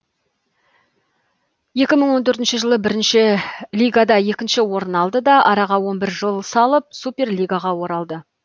екі мың он төртінші жылы бірінші лигада екінші орын алды да араға он бір жыл салып суперлигаға оралды